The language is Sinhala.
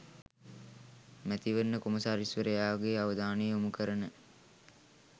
මැතිවරණ කොමසාරිස්වරයාගේ අවධානය යොමු කරන